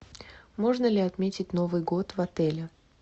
можно ли отметить новый год в отеле